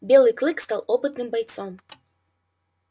белый клык стал опытным бойцом